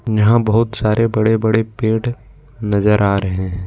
यहां बहुत सारे बड़े बड़े पेड़ नजर आ रहे हैं ।